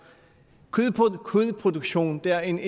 kødproduktion er en